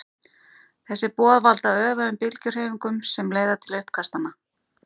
þessi boð valda öfugum bylgjuhreyfingunum sem leiða til uppkastanna